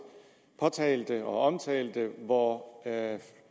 påtalte og omtalte hvor